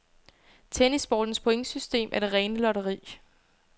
Tennissportens pointsystem er det rene lotteri.